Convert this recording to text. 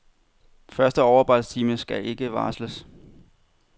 Første overarbejdstime skal ikke varsles.